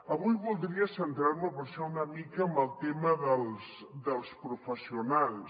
avui voldria centrar me per això una mica en el tema dels professionals